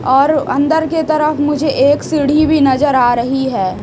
और अंदर के तरफ मुझे एक सीढ़ी भी नजर आ रही है।